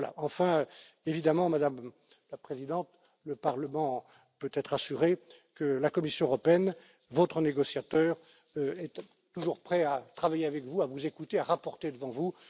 Enfin, évidemment, Madame la Présidente, le Parlement peut être assuré que la Commission européenne, que votre négociateur, seront toujours prêts à travailler avec vous, à vous écouter, à faire rapport devant